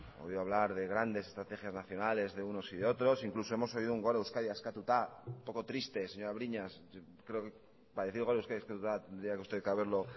oído hablar de grandes estrategias nacionales de unos y de otros incluso hemos oído un gora euskadi askatuta un poco triste señora briñas creo para decir gora euskadi askatuta tendría usted que haberlo